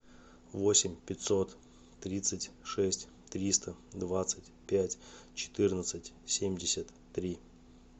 восемь пятьсот тридцать шесть триста двадцать пять четырнадцать семьдесят три